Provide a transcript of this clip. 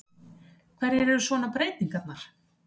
Hverjar eru svona breytingarnar?